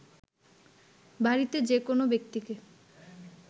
বাড়িতে যে কোনো ব্যক্তিকে